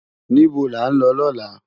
Nibó lá n lò lòlá?